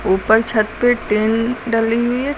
ऊपर छत पे टीन डली हुई है।